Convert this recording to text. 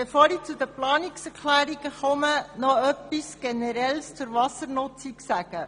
Bevor ich zu den Planungserklärungen komme, möchte ich etwas Generelles zur Wassernutzung sagen.